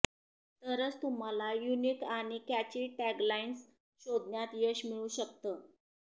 तरच तुम्हाला युनिक आणि कॅची टॅगलाइन्स शोधण्यात यश मिळू शकतं